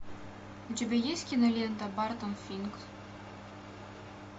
у тебя есть кинолента бартон финк